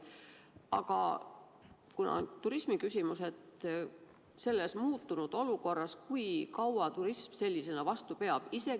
Aga kuna meil on siin turismiküsimus, siis kui kaua selles muutunud olukorras turism sellisena vastu peab?